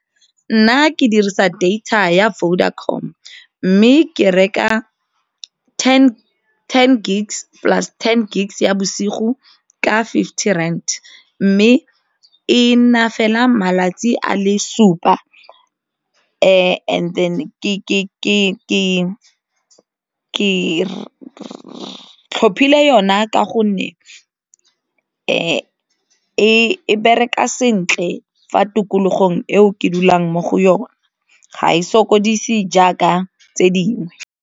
Nna ke dirisa data ya Vodacom mme ke reka ten gigs plus ten gig ya bosigo ka fifty rand mme e nna fela malatsi a le supa and then ke tlhophile yona ka gonne e e bereka sentle fa tikologong eo ke dulang mo go yone, ga e sokodise jaaka tse dingwe.